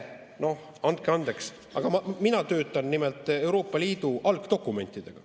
Andke andeks, aga mina töötan nimelt Euroopa Liidu algdokumentidega.